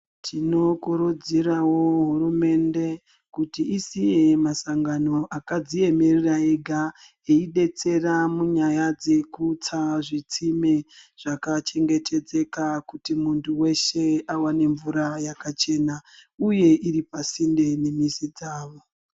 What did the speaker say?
Tinokurudzirawo hurumende kuti isiye masangano akadziemera ega eidetsera munyaya dzekutsa zvitsime zvakachengetedzeka kuti muntu weshe awane mvura yakachena uye iripasinde nemizibdzawo.